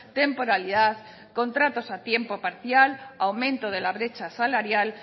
temporalidad contratos a tiempo parcial aumento de la brecha salarial